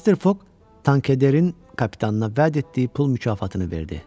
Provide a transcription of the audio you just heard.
Mister Fogg Tankederin kapitanına vəd etdiyi pul mükafatını verdi.